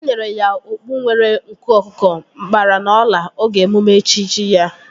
Enyere ya okpu nwere nku ọkụkọ, nkpara na ọla oge emume echichi ya